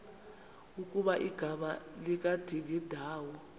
ukuba igama likadingindawo